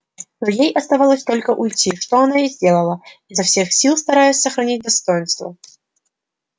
но ей оставалось только уйти что она и сделала изо всех сил стараясь сохранить достоинство